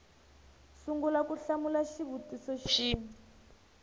sungula ku hlamula xivutiso xin